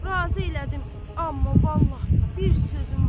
Razı elədim, amma vallah bir sözüm var.